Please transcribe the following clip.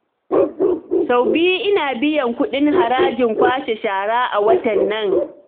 Sau biyu ina biyan kuɗin harajin kwashe shara a watan nan